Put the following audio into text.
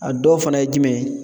A dɔw fana ye jumɛn ye ?